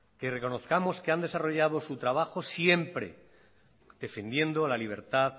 que reconozcamos que han desarrollado su trabajo siempre defendiendo a la libertad